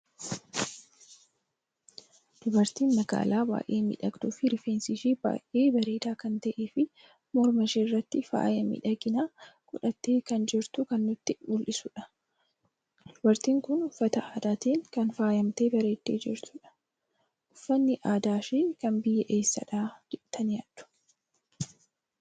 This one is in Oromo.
Dubartii maagaala baay'ee miidhagdu fi rifeensi ishee baay'ee bareeda kan ta'e fi morma ishee irratti faayaa miidhagina godhatte kan jirtu kan nutti muldhisudha. Dubqrtin kun uffata aadaatin kan faayamte bareeddi jirtudha. Uffanni aadaa ishee kan biyyaa eessadha jettani yaaddu?